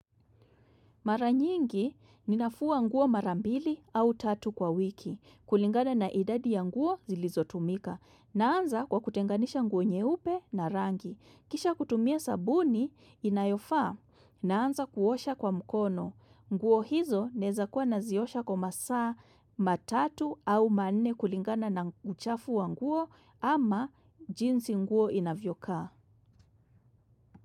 Mara nyingi ninafua nguo mara mbili au tatu kwa wiki. Kulingana na idadi ya nguo zilizotumika. Naanza kwa kutenganisha nguo nyeupe na rangi. Kisha kutumia sabuni inayofaa. Naanza kuosha kwa mkono. Nguo hizo naeza kuwa naziosha kwa masaa matatu au manne kulingana na uchafu wa nguo ama jinsi nguo inavyokaa.